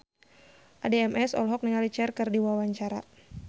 Addie MS olohok ningali Cher keur diwawancara